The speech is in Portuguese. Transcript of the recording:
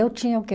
Eu tinha, o quê?